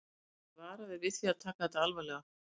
Lesendur eru varaðir við því að taka þetta alvarlega.